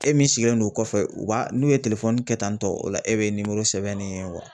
E min sigilen don kɔfɛ u b'a n'u ye kɛ tantɔ, o la e bi sɛbɛn ne ye